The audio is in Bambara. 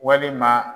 Walima